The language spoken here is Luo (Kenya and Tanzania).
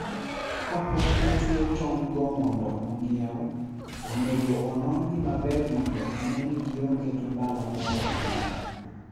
Kapok otwe tong'go mondo ong'iew, onego onon-gi maber mondo one ni gionge gi mbala moro amora.